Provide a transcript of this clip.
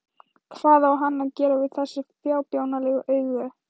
Hvað á hann að gera við þessi fábjánalegu augu?